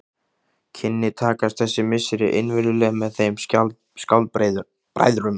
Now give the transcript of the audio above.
Kynni takast þessi misseri innvirðuleg með þeim skáldbræðrum.